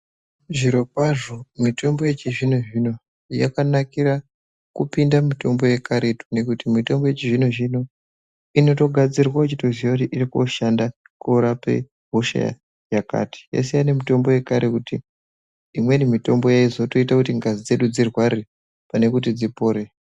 Zvirokwazvo mitombo yechizvino zvino yakanakira kupinda mitombo yekaretu ngekuti mitombo yechizvino zvino inotogadzirwa uchitoziva kuti uri kundoshande kundorape hosha yakati. Yasiyana nemitombo yekaretu, imweni yaizotoita kuti ngazi dzedu dzirware pane kuti dzipore.